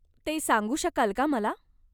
ते सांगू शकाल का मला?